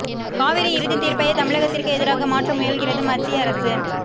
காவிரி இறுதித் தீர்ப்பையே தமிழகத்திற்கு எதிராக மாற்ற முயல்கிறது மத்திய அரசு